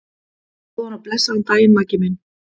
Góðan og blessaðan daginn, Maggi minn.